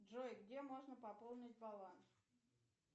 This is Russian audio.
джой где можно пополнить баланс